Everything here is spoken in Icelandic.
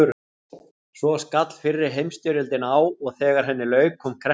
Svo skall fyrri heimsstyrjöldin á og þegar henni lauk kom kreppa.